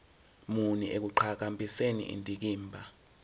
muni ekuqhakambiseni indikimba